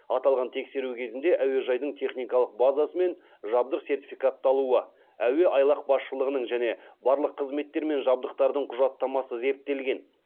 аталған тексеру кезінде әуежайдың техникалық базасы мен жабдық сертификатталуы әуеайлақ басшылығының және барлық қызметтер мен жабдықтардың құжаттамасы зерттелген